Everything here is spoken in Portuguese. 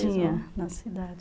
Tinha, na cidade.